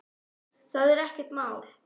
Það er ekkert mál.